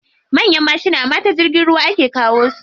Manyan mashina ma ta jirgin ruwa ake kawo su.